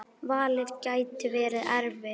Valið gæti verið erfitt.